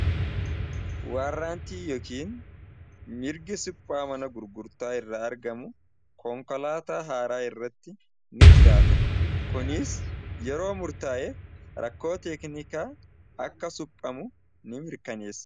warraantii yookiin mirgi suphaa mana gurgurtaa irraa argamu koonkolaataa haaraa irratti ni jiraata kuniis yeroo murtaa'e rakkoo teeknikaa akka suphamu ni mirkaneessa